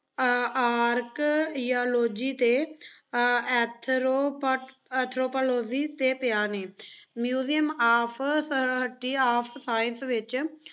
Archaeology ਅਤੇ ਐਂਥਰੋਪਾ~ anthropology 'ਤੇ ਪਿਆਂ ਨੇਂ। Museum of history of science ਵਿੱਚ